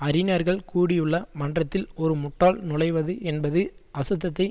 அறிஞர்கள் கூடியுள்ள மன்றத்தில் ஒரு முட்டாள் நுழைவது என்பது அசுத்தத்தை